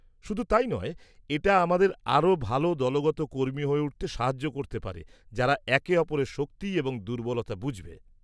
-শুধু তাই নয়, এটা আমাদের আরও ভালো দলগত কর্মী হয়ে উঠতে সাহায্য করতে পারে যারা একে অপরের শক্তি এবং দুর্বলতা বুঝবে।